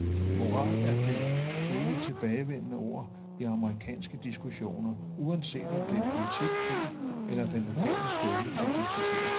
Moral er det evigt tilbagevendende ord i amerikanske diskussioner, uanset om det er politik, krig eller den lokale skole, der diskuteres.